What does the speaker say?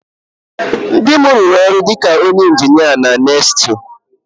Di m rụrụ ọrụ dị ka onye injinia na NESTLE